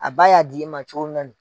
A ba y'a d'i ma cogo min na ni